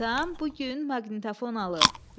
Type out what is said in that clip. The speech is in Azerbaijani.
Atam bu gün maqnitofon alıb.